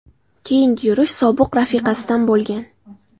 Keyingi yurish sobiq rafiqasidan bo‘lgan.